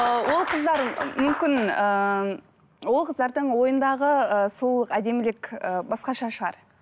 ыыы ол қыздар мүмкін ыыы ол қыздардың ойындағы ы сұлулық әдемілік ы басқаша шығар